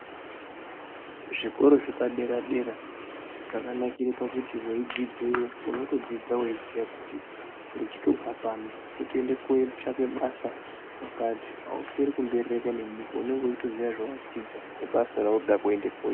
Zvikoro zvepa dera dera zvakanakira pakuti weyi dzidzeyo unoto dzidza weiziya kuti ndichi tobva pano kutoenda ko tsvake basa kwakati ausweri ku mberereka ne nyika unenge uchito ziya zvawa dzidza ne basa raunenge uchida kutoenda koita.